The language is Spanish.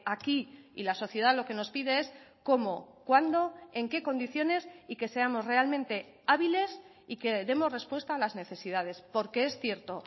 aquí y la sociedad lo que nos pide es cómo cuándo en qué condiciones y que seamos realmente hábiles y que demos respuesta a las necesidades porque es cierto